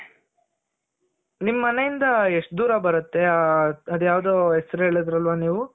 ನಿಮ್ ಮನೆ ಇಂದ ಎಷ್ಟು ದೂರ ಬರುತ್ತೆ ಅದು ಯಾವ್ದೋ ಹೆಸರು ಹೇಳಿದ್ರಲ್ವ ನೀವು.